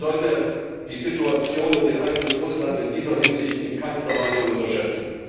Man sollte die Situation und den Einfluss Russlands in dieser Hinsicht in keiner Weise unterschätzen!